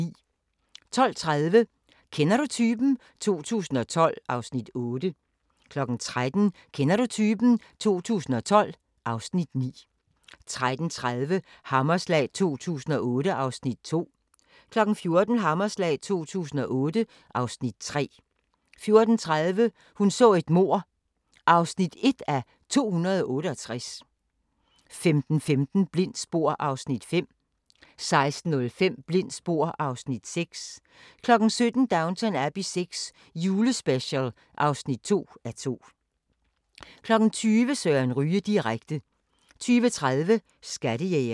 12:30: Kender du typen? 2012 (Afs. 8) 13:00: Kender du typen? 2012 (Afs. 9) 13:30: Hammerslag 2008 (Afs. 2) 14:00: Hammerslag 2008 (Afs. 3) 14:30: Hun så et mord (1:268) 15:15: Blindt spor (Afs. 5) 16:05: Blindt spor (Afs. 6) 17:00: Downton Abbey VI – julespecial (2:2) 20:00: Søren Ryge direkte 20:30: Skattejægerne